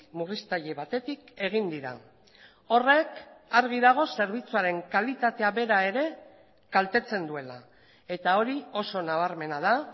murriztaile batetik egin dira horrek argi dago zerbitzuaren kalitatea bera ere kaltetzen duela eta hori oso nabarmena da